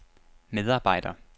medarbejder